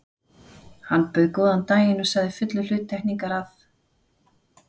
Hann bauð góðan daginn og sagði fullur hluttekningar, að